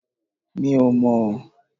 Mi ò mò